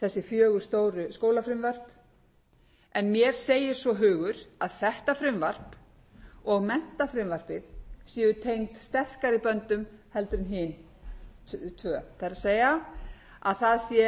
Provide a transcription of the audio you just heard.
fjögur stóru skólafrumvörp en mér segir svo hugur að þetta frumvarp og menntafrumvarpið séu tengd sterkari böndum heldur en hin tvö það er að það sé